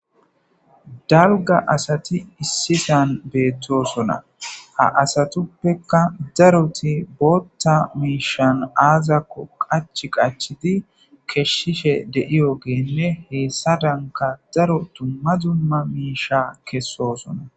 Dalga asati issisan beettosona ha asatuppeka daroti bootta miishan aazakko qach qachidi keshshishe deiyogenne heessa danka daro tumma zumma miisha kessosona